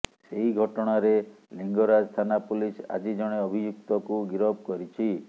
ସେହି ଘଟଣାରେ ଲିଙ୍ଗରାଜ ଥାନା ପୋଲିସ ଆଜି ଜଣେ ଅଭିଯୁକ୍ତକୁ ଗିରଫ କରିଛି